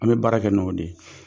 An bɛ baara kɛ n'o de ye,